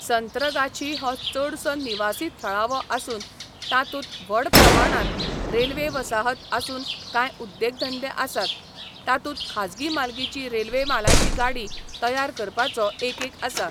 संत्रगाछी हो चडसो निवासी थळावो आसून तातूंत व्हड प्रमाणांत रेल्वे वसाहत आसून कांय उद्देगधंदे आसात, तातूंत खाजगी मालकीचो रेल्वे मालाची गाडी तयार करपाचो एकक आसा.